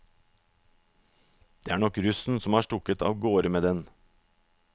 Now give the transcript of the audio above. Det er nok russen som har stukket av gårde med den.